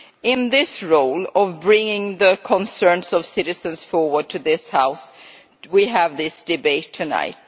In this role of bringing the concerns of citizens forward to this House, we have initiated this debate tonight.